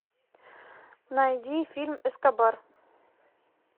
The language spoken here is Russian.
найди фильм эскобар